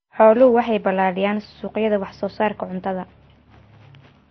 Xooluhu waxay balaadhiyaan suuqyada wax soo saarka cuntada.